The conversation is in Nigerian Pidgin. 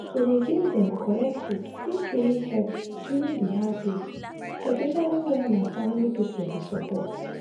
to dey give dem correct food fit really help during the hard days especially when na family people dey support.